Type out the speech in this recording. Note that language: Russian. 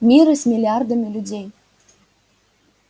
миры с миллиардами людей